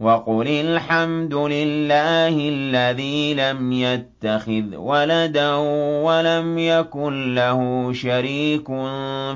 وَقُلِ الْحَمْدُ لِلَّهِ الَّذِي لَمْ يَتَّخِذْ وَلَدًا وَلَمْ يَكُن لَّهُ شَرِيكٌ